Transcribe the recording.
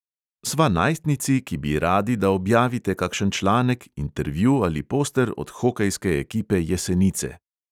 Sva najstnici, ki bi radi, da objavite kakšen članek, intervju ali poster od hokejske ekipe jesenice.